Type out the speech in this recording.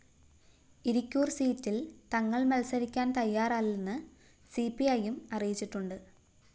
ഇരിക്കൂര്‍ സീറ്റില്‍ തങ്ങള്‍ മത്സരിക്കാന്‍ തയ്യാറല്ലെന്ന് സിപിഐയും അറിയിച്ചിട്ടുണ്ട്